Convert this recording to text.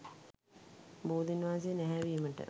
බෝධීන් වහන්සේ නැහැවීමට